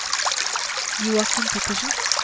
Joachim Pettersen